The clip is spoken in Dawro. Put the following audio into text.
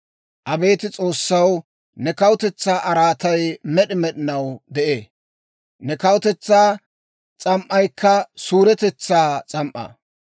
Abeet S'oossaw, ne kawutetsaa araatay med'i med'inaw de'ee; ne kawutetsaa s'am"aykka suuretetsaa s'am"aa.